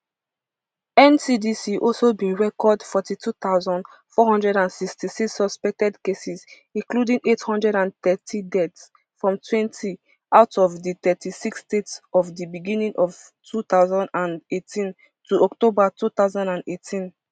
ncdc also bin record forty-two thousand, four hundred and sixty-six suspected cases including eight hundred and thirty deaths from twenty out of di thirty-six states from di beginning of two thousand and eighteen to october two thousand and eighteen